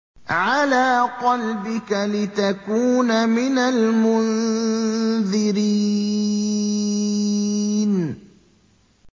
عَلَىٰ قَلْبِكَ لِتَكُونَ مِنَ الْمُنذِرِينَ